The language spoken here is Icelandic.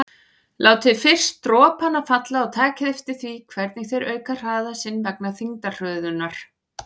Látið fyrst dropana falla og takið eftir því hvernig þeir auka hraða sinn vegna þyngdarhröðunar.